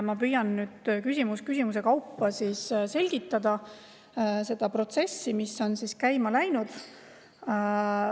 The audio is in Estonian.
Ma püüan siis küsimus küsimuse kaupa selgitada seda protsessi, mis on käima läinud.